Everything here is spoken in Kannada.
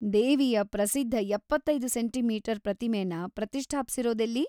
ದೇವಿಯ ಪ್ರಸಿದ್ಧ ಎಪ್ಪತ್ತೈದು ಸೆಂಟೀ ಮೀಟರ್ ಪ್ರತಿಮೆನ ಪ್ರತಿಷ್ಠಾಪ್ಸಿರೋದೆಲ್ಲಿ?